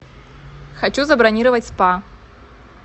хочу забронировать спа